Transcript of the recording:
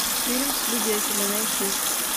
фильм свидетели найти